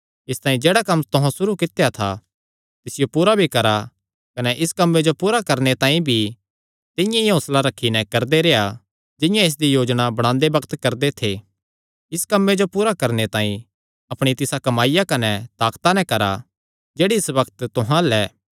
इसतांई जेह्ड़ा कम्म तुहां सुरू कित्या था तिसियो पूरा भी करा कने इस कम्मे जो पूरा करणे तांई भी तिंआं ई हौंसला रखी नैं करदे रेह्आ जिंआं इसदी योजना बणांदे बग्त करदे थे इस कम्मे जो पूरा करणे तांई अपणी तिसा कमाईया कने ताकता नैं करा जेह्ड़ी इस बग्त तुहां अल्ल ऐ